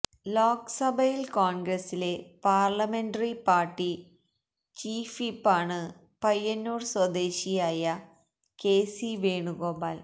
ലോക്സഭയില് കോണ്ഗ്രസിലെ parliamentary party ചീഫ്വിപ്പാണ് പയ്യന്നൂര് സ്വദേശിയായ കെ സി വേണുഗോപാല്